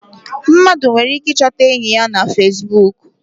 Mmadụ nwere ike I chọta enyị ya na Fesbụụk.